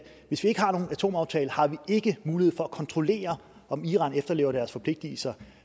hvis vi ikke har nogen atomaftale har vi ikke mulighed for at kontrollere om iran efterlever deres forpligtelser